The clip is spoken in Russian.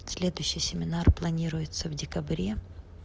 следующий семинар планируется в декабре